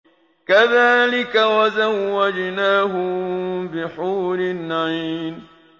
كَذَٰلِكَ وَزَوَّجْنَاهُم بِحُورٍ عِينٍ